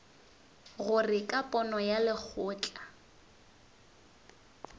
gore ka pono ya lekgotla